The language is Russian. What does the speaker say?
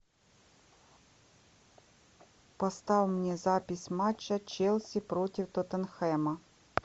поставь мне запись матча челси против тоттенхэма